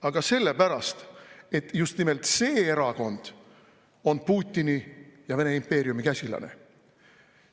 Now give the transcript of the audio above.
Aga sellepärast, et just nimelt see erakond on Putini ja Vene impeeriumi käsilane.